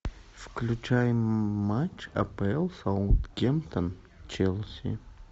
включай матч апл саутгемптон челси